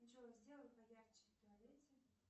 джой сделай поярче в туалете